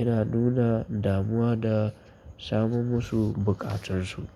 ina nuna damuwa da samun masu buƙatunsu.